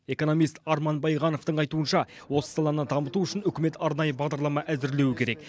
экономист арман байғановтың айтуынша осы саланы дамыту үшін үкімет арнайы бағдарлама әзірлеуі керек